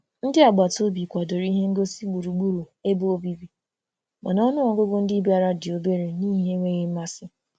Ndị agbataobi kwadoro ihe ngosị gburugburu ebe obibi, mana ọnụọgụgụ ndị bịara dị obere n'ihi enweghị mmasị